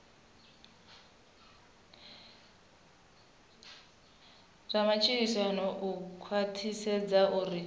zwa matshilisano u khwathisedza uri